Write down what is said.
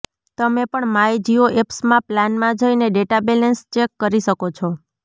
તમે પણ માય જિયો એપ્સમાં પ્લાનમા જઈને ડેટા બેલેન્સ ચેક કરી શકો છો